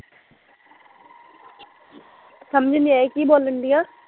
ਸਮਜ ਨੀ ਆਈ ਕੀ ਬੋਲਣ ਡਈ ਐ